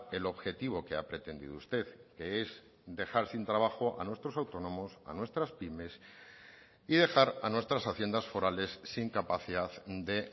el objetivo que ha pretendido usted que es dejar sin trabajo a nuestros autónomos a nuestras pymes y dejar a nuestras haciendas forales sin capacidad de